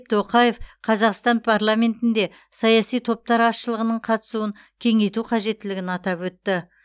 тоқаев қазақстан парламентінде саяси топтар азшылығының қатысуын кеңейту қажеттілігін атап өтті